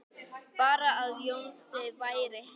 Bara að Jónsi væri heima.